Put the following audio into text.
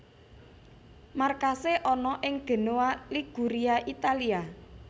Markasé ana ing Genoa Liguria Italia